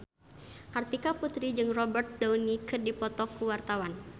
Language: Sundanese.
Kartika Putri jeung Robert Downey keur dipoto ku wartawan